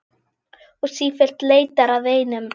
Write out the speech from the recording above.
Og sífellt leitar að einum.